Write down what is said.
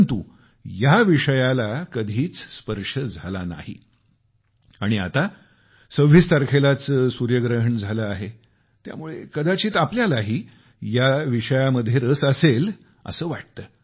परंतु या विषयावर कधी बोलणेच झाले नाही आणि आता 26 तारखेलाच सूर्यग्रहण झाले आहे त्यामुळे कदाचित आपल्यालाही या विषयामध्ये रस असेल असे वाटते